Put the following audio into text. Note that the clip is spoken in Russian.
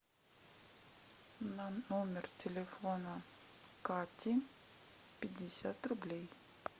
на номер телефона кати пятьдесят рублей